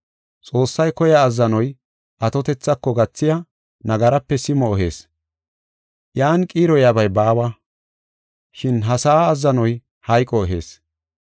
Xoossay koya azzanoy, atotethako gathiya nagarape simo ehees; iyan qiiroyabay baawa. Shin ha sa7a azzanoy hayqo ehees.